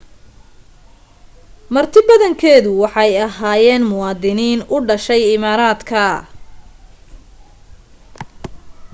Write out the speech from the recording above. martidabadankeedu waxay ahyeenmuwaadiniin u dhashay imaaraadka